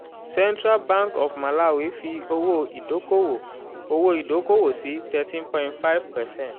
central bank of malawi fi owó ìdókòwò owó ìdókòwò sí thirteen point five percent